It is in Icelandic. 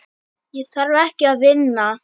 Ég þarf ekki að vinna.